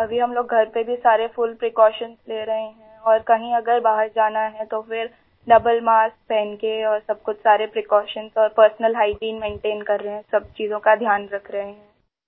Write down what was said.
अभी हम लोग घर पे भी सारे फुल प्रीकॉशंस ले रहे हैं और कहीं अगर बाहर जाना है तो फ़िर डबल मास्क पहन के और सब कुछ सारे प्रीकॉशंस और पर्सनल हाइजीन मेंटेन कर रहे हैं सब चीज़ों का ध्यान रख रहे हैं आई